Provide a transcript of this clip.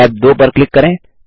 tab 2 पर click करें